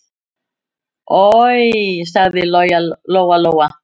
Oj, sagði Lóa-Lóa.